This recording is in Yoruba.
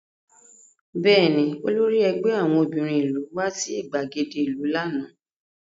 Bẹ́ẹ̀ni, olórí ẹgbẹ́ àwọn obìnrin ìlú wá sí ìgbàgede ìlú lánàá